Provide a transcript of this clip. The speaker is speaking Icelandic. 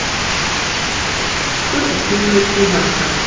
Stundum fylgir þessu verkur og stífleiki í hnakka.